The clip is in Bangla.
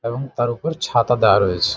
এবং তার ওপর ছাতা দেওয়া রয়েছে।